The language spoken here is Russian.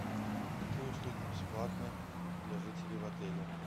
какие услуги бесплатны для жителей в отеле